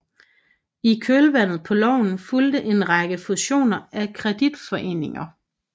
I kølvandet på loven fulgte en række fusioner af kreditforeninger